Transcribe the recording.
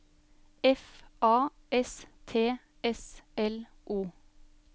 F A S T S L O